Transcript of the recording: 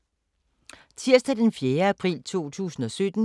Tirsdag d. 4. april 2017